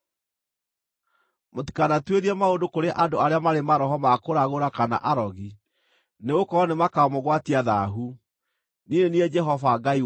“ ‘Mũtikanatuĩrie maũndũ kũrĩ andũ arĩa marĩ maroho ma kũragũra kana arogi, nĩgũkorwo nĩmakamũgwatia thaahu. Niĩ nĩ niĩ Jehova Ngai wanyu.